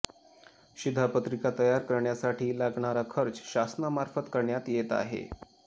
शिधापत्रिका तयार करण्यासाठी लागणारा खर्च शासनामार्फत करण्यात येत आहे